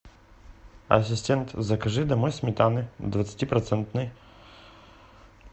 ассистент закажи домой сметаны двадцатипроцентной